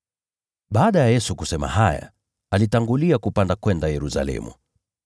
Baada ya Yesu kusema haya, alitangulia kupanda kwenda Yerusalemu.